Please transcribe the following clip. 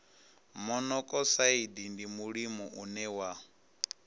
monokosaidi ndi mulimo une wa